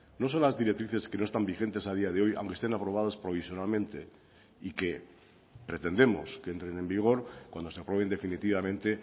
no son las directrices que no están vigentes a día de hoy aunque estén aprobadas provisionalmente y que pretendemos que entren en vigor cuando se aprueben definitivamente